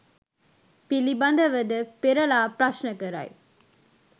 පිළිබඳව ද පෙරළා ප්‍රශ්න කරයි